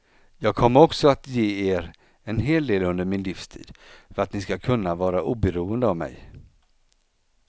Jag kommer också att ge er en hel del under min livstid, för att ni ska kunna vara oberoende av mig.